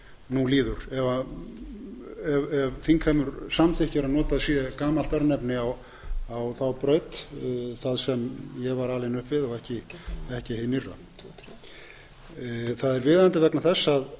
nú líður ef þingheimur samþykkir að notað sé gamalt örnefni á þá braut þar sem ég var alinn upp við og ekki hið nýrra það er viðeigandi vegna þess að